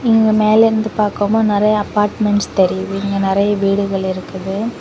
இங்க மேல இருந்து பார்க்கும்போது நிறைய அப்பார்ட்மெண்ட்ஸ் தெரியுது இங்க நிறைய வீடுகள் இருக்குது.